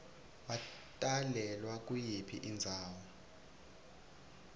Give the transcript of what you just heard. watalelwa kuyiphi indzawo